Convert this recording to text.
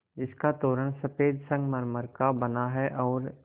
जिसका तोरण सफ़ेद संगमरमर का बना है और